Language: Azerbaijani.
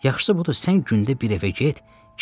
Yaxşısı budur, sən gündə bir evə get,